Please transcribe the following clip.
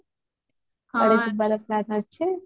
କୁଆଡେ ଯିବାର plan ଅଛି